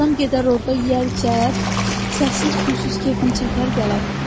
Adam gedər orda yeyər, içər, səssiz, küysüz kefin çəkər, gələr.